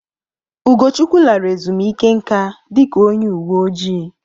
Ugochukwu lara ezumike nka dika onye uwe ojii.